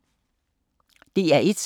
DR1